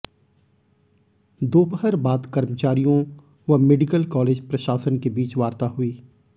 दोपहर बाद कर्मचारियों व मेडिकल कालेज प्रशासन के बीच वार्ता हुई